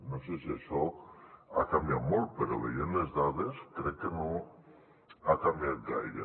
no sé si això ha canviat molt però veient les dades crec que no ha canviat gaire